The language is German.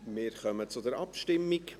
Wir kommen zur Abstimmung.